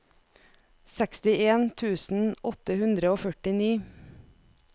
sekstien tusen åtte hundre og førtini